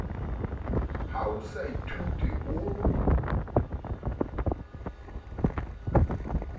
ha o sa ithuti o